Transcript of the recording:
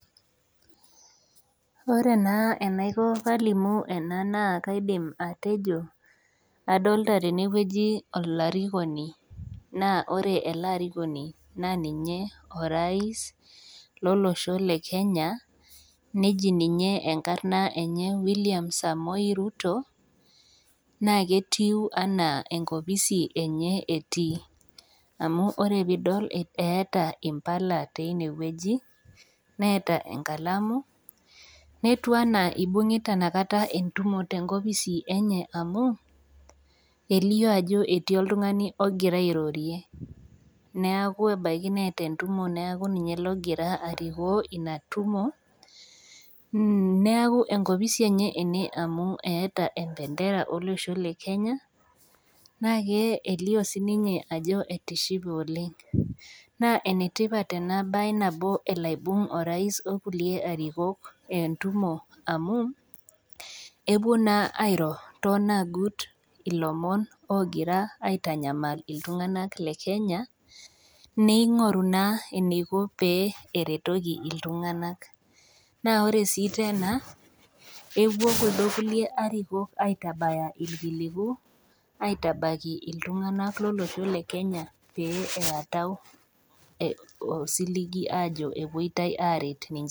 Wore naa enaiko pee alimu ena naa kaidim atejo, adolita tene wueji olarikoni, naa wore ele arikoni naa ninye orais lolosho lekenya, neji ninye enkarna enye William Samoe Ruto, naa ketiu enaa enkopisi enye etii, amu wore pee idol eeta impala enyanak teniewoji, neeta enkalamu, netiu enaa ibungita inakata entumo tenkopisi enye amu, elio ajo etii oltungani okira airorie. Neeku ebaiki neeta entumo neeku ninye okira arikoo ina tumo, neeku enkopisi enye ene amu eata embendera olosho lekenya. Naa kelio sininye ajo etishipe oleng'. Naa enetipat ena baye nabo elo aibung orais okulie arikok entumo amu, epuo naa airo toonagut ilomon ookira aitanyamal iltunganak lekenya, ningoru naa eniko pee eretoki iltunganak. Naa wore sii tena, epuo kuldo kulie arikok aitabaya irkiliku, aitabaiki iltunganak lolosho lekenya, pee eeatau osiligi aajo epoitoi aaret ninche